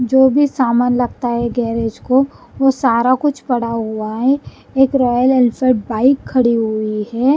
जो भी सामान लगता है गैरेज को वो सारा कुछ पड़ा हुआ है एक रॉयल एन्यसड बाइक खड़ी हुई है।